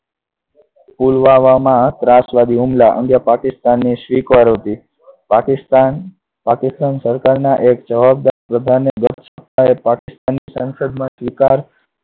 પુલવામામાં ત્રાસવાદી હુમલા અંગે પાકિસ્તાનને સ્વીકાર હતી. પાકિસ્તાન, પાકિસ્તાન સરકારના એક જવાબદાર પ્રધાને પાકિસ્તાન સંસદમાં સ્વીકાર